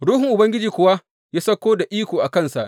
Ruhun Ubangiji kuwa ya sauko da iko a kansa.